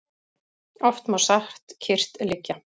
Oft má satt kyrrt liggja.